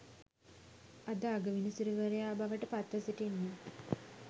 අද අගවිනිසුරුවරයා බවට පත්ව සිටින්නේ.